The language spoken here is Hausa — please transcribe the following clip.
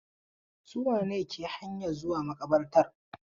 Su wane ne ke hanyan zuwa maƙabartar?